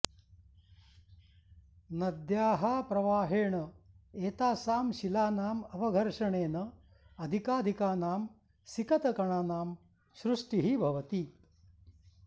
नद्याः प्रवाहेण एतासां शिलानाम् अवघर्षणेन अधिकाधिकानां सिकतकणानां सृष्टिः भवति